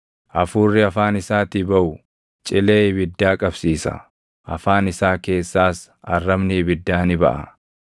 Hafuurri afaan isaatii baʼu cilee ibiddaa qabsiisa; afaan isaa keessaas arrabni ibiddaa ni baʼa.